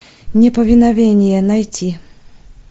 неповиновение найти